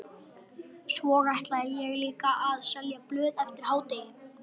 Svo ætla ég líka að selja blöð eftir hádegi.